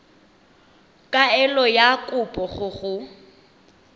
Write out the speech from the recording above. kaelo ya kopo go go